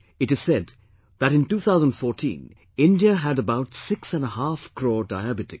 It is said that in 2014 India had about six and a half crore Diabetics